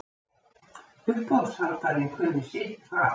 Uppboðshaldarinn kunni sitt fag.